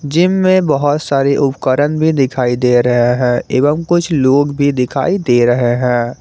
Gym में बहुत सारी उपकरण भी दिखाई दे रहे हैं एवं कुछ लोग भी दिखाई दे रहे हैं।